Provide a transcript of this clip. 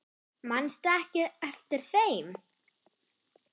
Manstu ekki eftir þeim?